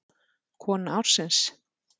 Kona ársins?